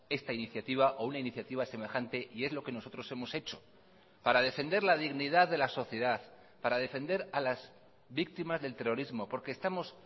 esta iniciativa o una iniciativa semejante y es lo que nosotros hemos hecho para defender la dignidad de la sociedad para defender a las víctimas del terrorismo porque estamos